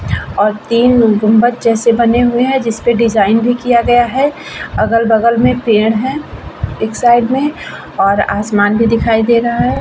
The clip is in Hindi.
और तीन गुंबद जैसे बने हुए है जिस पर डिजाइन भी किया गया है अगल-बगल में पेड़ है एक साइड में और आसमान भी दिखाई दे रहा है।